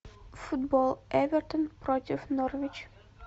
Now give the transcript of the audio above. футбол эвертон против норвич